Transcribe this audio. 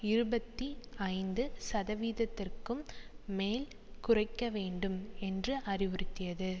இருபத்தி ஐந்து சதவீதத்திற்கும் மேல் குறைக்க வேண்டும் என்று அறிவுறுத்தியது